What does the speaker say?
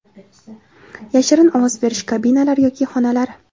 yashirin ovoz berish kabinalari yoki xonalari;.